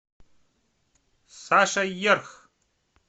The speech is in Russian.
саша ерх